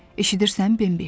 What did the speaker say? Eşidirsən, Bembi?